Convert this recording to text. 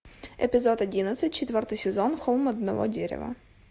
эпизод одиннадцать четвертый сезон холм одного дерева